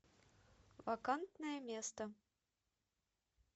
вакантное место